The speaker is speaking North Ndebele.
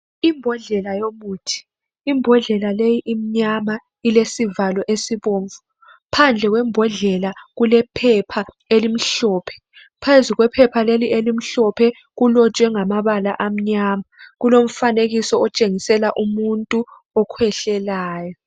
Imbhodlela yomuthi, imbhodlela leyi imnyama ilesivalo esibomvu, phandle kwembhodlela kulephepha elimhlophe phezu kwephepha leli elimhlophe kulotshwe ngamabala amnyama. Kulomfanekiso otshengisela umuntu okhwehlelayo